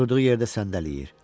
Oturduğu yerdə səndələyir.